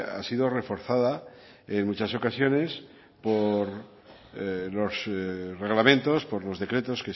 ha sido reforzada en muchas ocasiones por los reglamentos por los decretos